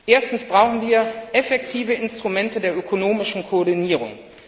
Erstens brauchen wir effektive Instrumente zur ökonomischen Koordinierung.